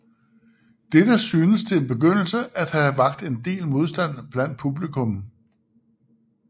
Dette synes til en begyndelse at have vakt en del modstand blandt publikum